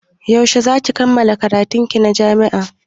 Yaushe za ki kammala karatun ki a jami'a?